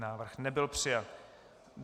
Návrh nebyl přijat.